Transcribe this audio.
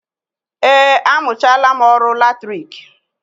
Eé, amụchaala m ọrụ latriki